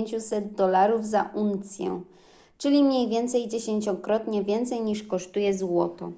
500 dolarów za uncję czyli mniej więcej dziesięciokrotnie więcej niż kosztuje złoto